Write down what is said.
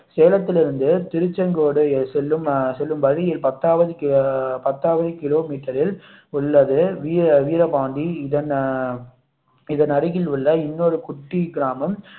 சேலத்தில் இருந்து திருச்செங்கோடு செல்லும் அஹ் செல்லும் வழியில் பத்தாவது பத்தாவது கிலோமீட்டரில் உள்ளது வீ~ வீரபாண்டி இதன் அருகில் உள்ள இன்னொரு குட்டி கிராமம்